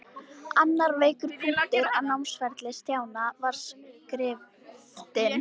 Annar veikur punktur á námsferli Stjána var skriftin.